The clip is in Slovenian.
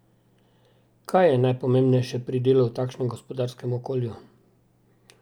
Kaj je najpomembnejše pri delu v takšnem gospodarskem okolju?